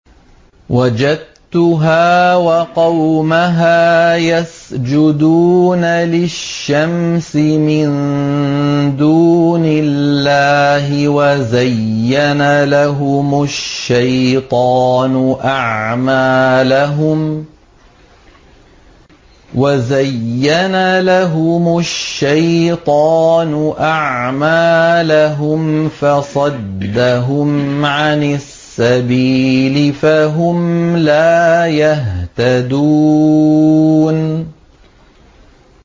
وَجَدتُّهَا وَقَوْمَهَا يَسْجُدُونَ لِلشَّمْسِ مِن دُونِ اللَّهِ وَزَيَّنَ لَهُمُ الشَّيْطَانُ أَعْمَالَهُمْ فَصَدَّهُمْ عَنِ السَّبِيلِ فَهُمْ لَا يَهْتَدُونَ